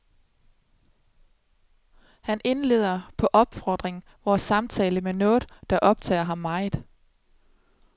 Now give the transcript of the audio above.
Han indleder, på opfordring, vores samtale med noget, der optager ham meget.